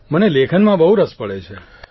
મને લેખનમાં બહુ રસ પડે છે